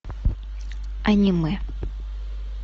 аниме